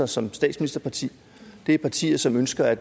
som statsministerparti og det er partier som ønsker at